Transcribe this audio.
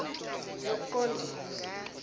yokuqondisa